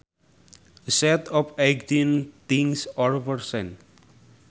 A set of eighteen things or persons